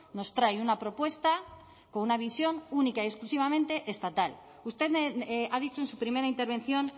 nos trae una propuesta con una visión única y exclusivamente estatal usted ha dicho en su primera intervención